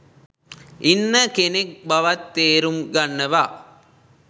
ඉන්න කෙනෙක් බවත් තේරුම් ගන්නවා.